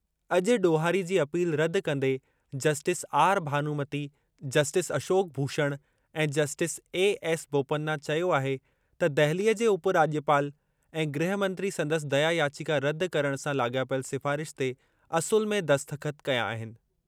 अॼु ॾोहारी जी अपील रदि कंदे justice R Bhanumathi justice Ashok Bhushan ऐं जस्टिस ए एस बोपन्ना चयो आहे त दहिलीअ जे उप राज॒पाल ऐं गृह मंत्री संदसि दया याचिका रदि करणु सां लाॻापियल सिफ़ारिश ते असुलु में दस्तख़त कया आहिनि।